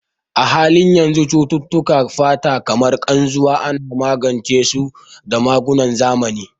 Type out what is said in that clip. A halin yanzu, cututtukan fata kamar Ƙarzuwa ana magance su da magungunan zamani.